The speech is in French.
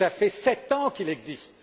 Cela fait sept ans qu'il existe!